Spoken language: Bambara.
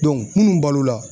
munnu balo la